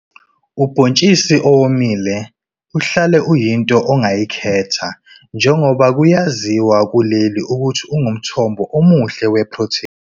Ubhontshisi owomile uhlale uyinto ongayikhetha njengoba kuyaziwa kuleli ukuthi ungumthombo omuhle wephrotheni.